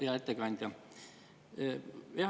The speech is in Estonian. Hea ettekandja!